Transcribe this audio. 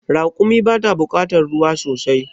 Raƙumi bata bukatar ruwa sosai